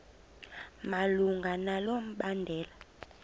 malunga nalo mbandela